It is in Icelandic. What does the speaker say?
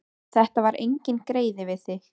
Þetta var enginn greiði við þig.